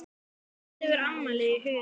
Ég lít yfir afmælið í huganum.